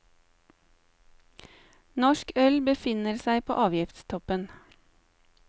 Norsk øl befinner seg på avgiftstoppen.